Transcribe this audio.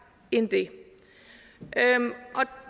end det